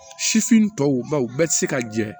Sifin tɔw baw bɛɛ ti se ka jɛ